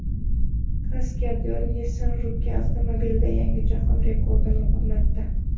Kaskadyor Nissan Juke avtomobilida yangi jahon rekordini o‘rnatdi.